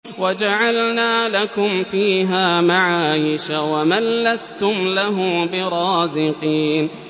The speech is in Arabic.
وَجَعَلْنَا لَكُمْ فِيهَا مَعَايِشَ وَمَن لَّسْتُمْ لَهُ بِرَازِقِينَ